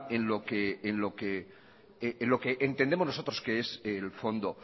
en lo que entendemos nosotros que es el fondo